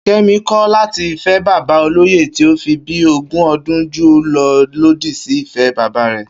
Ké̩mi kò̩ láti fé̩ bàbá olóyè tí o fi bíi ogún o̩dún jù ú lo̩ lòdì sí ìfé̩ bàbá rè̩